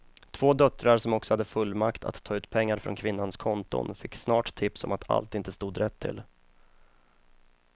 Två döttrar som också hade fullmakt att ta ut pengar från kvinnans konton fick snart tips om att allt inte stod rätt till.